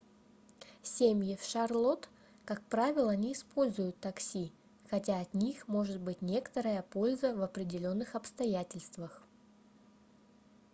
семьи в шарлотт как правило не используют такси хотя от них может быть некоторая польза в определённых обстоятельствах